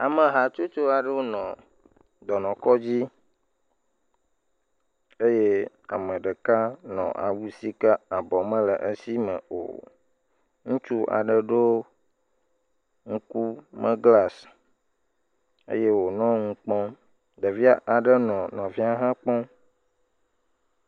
Ame hatsotso aɖewo nɔ dɔnɔkɔdzi eye ame ɖeka nɔ awu sike abɔ mele esi me o ŋutsu aɖe ɖɔ ŋkume be glasi eye wònɔ nu kpɔm ɖevi aɖe nɔ nɔvia ha kpɔm